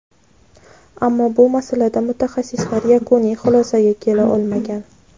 Ammo bu masalada mutaxassislar yakuniy xulosaga kela olmagan.